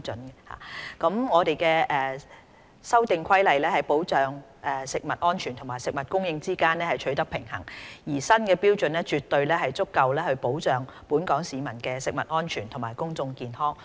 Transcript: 《2018年食物攙雜規例》在保障食物安全和食物供應之間取得平衡，而新標準絕對足夠保障本港市民的食物安全和公眾健康。